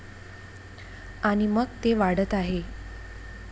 आणि मग ते वाढत आहे.